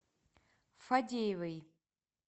фадеевой